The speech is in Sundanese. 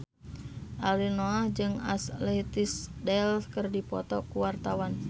Ariel Noah jeung Ashley Tisdale keur dipoto ku wartawan